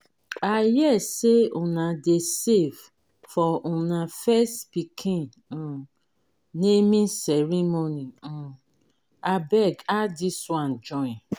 i hear say una dey save for una first pikin um naming ceremony um abeg add dis one join